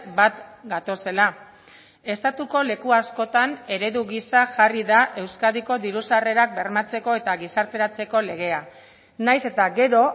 bat gatozela estatuko leku askotan eredu gisa jarri da euskadiko diru sarrerak bermatzeko eta gizarteratzeko legea nahiz eta gero